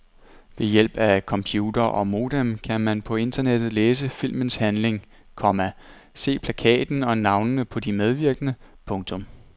Ved hjælp af computer og modem kan man på internettet læse filmens handling, komma se plakaten og navnene på de medvirkende. punktum